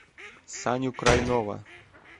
саню крайнова